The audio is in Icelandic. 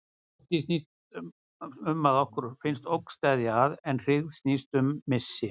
Ótti snýst um að okkur finnst ógn steðja að, en hryggð snýst um missi.